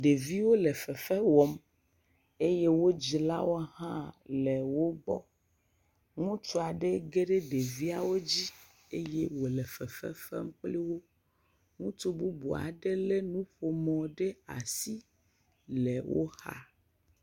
Ɖeviwo le fefe wɔm eye wo dzilawo hã le wo viwo gɔ. Ŋutsu aɖe ge ɖe ɖeviawo dzi eye wòle fefe fem kpli wo. Ŋutsu bubu aɖe lé nuƒomɔ ɖe asi le wo xa.